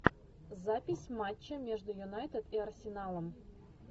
запись матча между юнайтед и арсеналом